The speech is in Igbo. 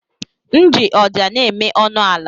M ji ọja na-eme ọnụ ala.